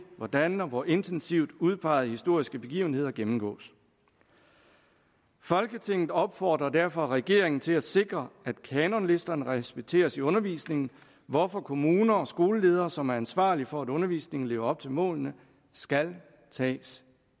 hvordan og hvor intensivt udpegede historiske begivenheder gennemgås folketinget opfordrer derfor regeringen til at sikre at kanonlisterne respekteres i undervisningen hvorfor kommuner og skoleledere som er ansvarlige for at undervisningen lever op til målene skal tages